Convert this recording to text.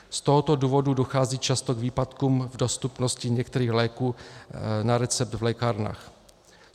Z tohoto důvodu dochází často k výpadkům v dostupnosti některých léků na recept v lékárnách.